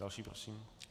Další prosím.